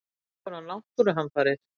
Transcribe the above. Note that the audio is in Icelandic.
Eins konar náttúruhamfarir.